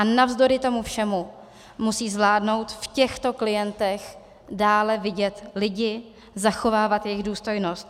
A navzdory tomu všemu musí zvládnout v těchto klientech dále vidět lidi, zachovávat jejich důstojnost.